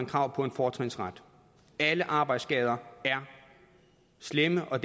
krav på fortrinsret alle arbejdsskader er slemme og